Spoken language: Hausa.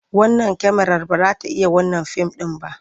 Wannan kyamarar ba za ta iya wannan fim ɗin ba.